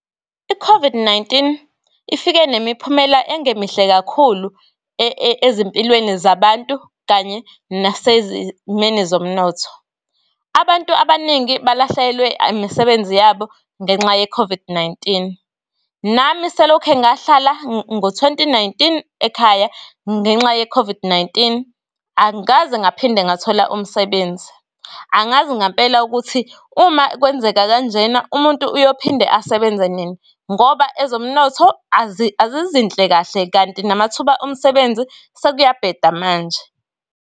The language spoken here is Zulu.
i-COVID-19 ifike nemiphumela engemihle kakhulu ezimpilweni zabantu kanye nasezimeni zomnotho. Abantu abaningi balahlelwe imisebenzi yabo, ngenxa ye-COVID-19. Nami selokhe ngahlala ngo-twenty nineteen ekhaya ngenxa ye-COVID-19 angikaze ngaphinde ngathola umsebenzi. Angazi ngampela ukuthi uma kwenzeka kanjena umuntu uyophinde asebenza nini, ngoba ezomnotho azizinhle kahle, kanti namathuba omsebenzi sekuyabheda manje.